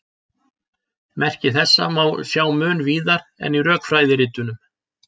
Merki þessa má sjá mun víðar en í rökfræðiritunum.